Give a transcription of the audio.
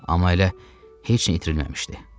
Amma elə heç nə itirilməmişdi.